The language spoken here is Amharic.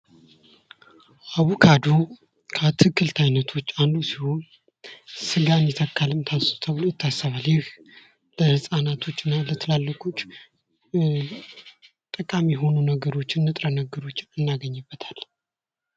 አቮካዶ ከአትክልት አይነቶች አንዱ ሲሆን ስጋን ይተካል ተብሎ ይታሰባል። ይህ ለህጻናቶች እና ለትላልቆች ጠቃሚ የሆኑ ነገሮችን ንጥረነገሮችን እናገኝበታለን።